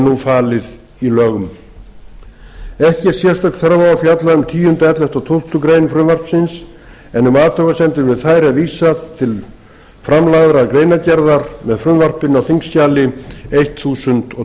nú falið í lögum ekki er sérstök þörf á að fjalla um tíunda ellefta og tólftu greinar frumvarpsins en um athugasemdir við þær er vísað til framlagðrar greinargerðar með frumvarpinu á þingskjali þúsund